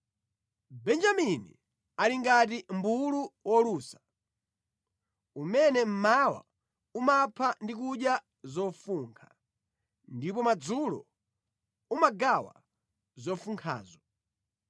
“Benjamini ali ngati mʼmbulu wolusa; umene mmawa umapha ndi kudya zofunkha, ndipo madzulo umagawa zofunkhazo,”